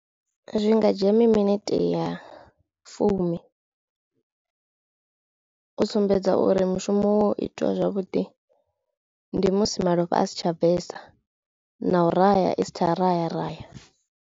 Zwi nga dzhia mi minete ya fumi. U sumbedza uri mushumo wo itiwa zwavhuḓi ndi musi malofha a si tsha bvesa na u raya isa tsha raya raya.